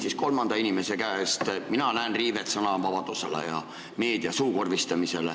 Küsin kolmanda inimese käest selle kohta, et mina näen siin sõnavabaduse riivet ja meedia suukorvistamist.